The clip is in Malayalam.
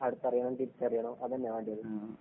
അടുത്തറിയണം തിരിച്ചറിയണം അതല്ലേ വേണ്ടിയത്.